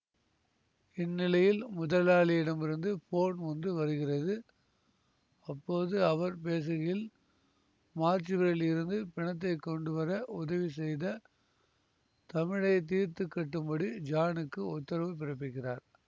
இந்நிலையில் முதலாளியிடமிருந்து போன் ஒன்று வருகிறது அப்போது அவர் பேசுகையில் மார்ச்சுவரியில் இருந்து பிணத்தை கொண்டுவர உதவி செய்த தமிழை தீர்த்துக்கட்டும்படி ஜானுக்கு உத்தரவு பிறப்பிக்கிறார்